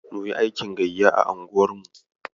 Munyi aikin gayya a unguwar mu.